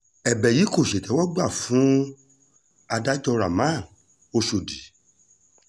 ẹ̀bẹ̀ yìí kò ṣètẹ́wọ́gbà fún adájọ́ rahman oshọ́dì